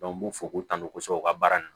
u m'u fo k'u tantɔ kosɛbɛ u ka baara nun